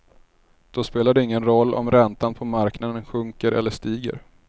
Då spelar det ingen roll om räntan på marknaden sjunker eller stiger.